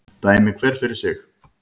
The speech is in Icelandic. Dæmi hver fyrir sig